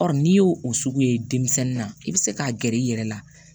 n'i y'o o sugu ye denmisɛnnin na i bɛ se k'a gɛrɛ i yɛrɛ la